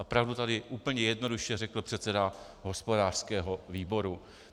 A pravdu tady úplně jednoduše řekl předseda hospodářského výboru.